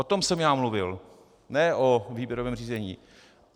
O tom jsem já mluvil, ne o výběrovém řízení.